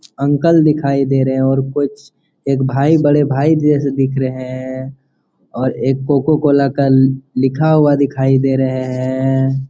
Uncle दिखाई दे रहे है और कुछ एक भाई बड़े भाई जैसे दिख रहे है और एक कोकोकोला का लिखा हुआ दिखाई दे रहे है।